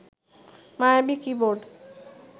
মায়াবী কিবোর্ড